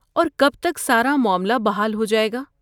اور کب تک سارا معاملہ بحال ہو جائے گا؟